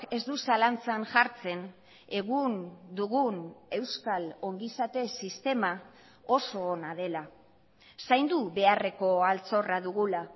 ez du zalantzan jartzen egun dugun euskal ongizate sistema oso ona dela zaindu beharreko altxorra dugula